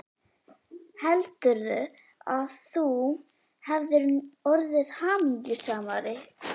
Heldurðu, að þú hefðir orðið hamingjusamari?